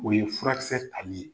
O ye furakisɛ tali ye.